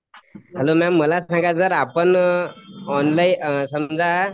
अनन्या मला सांगा जर आपण ऑनलाइन समजा